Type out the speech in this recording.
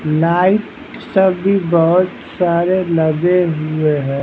Light सब भी बहुत सारे लगे हुए हैं।